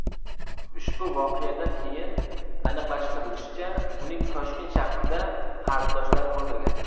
Ushbu voqeadan keyin aniqlashtirilishicha, uning Toshkent shahrida qarindoshlari bo‘lmagan.